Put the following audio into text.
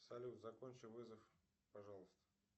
салют закончи вызов пожалуйста